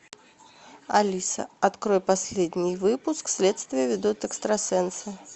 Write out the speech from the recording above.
алиса открой последний выпуск следствие ведут экстрасенсы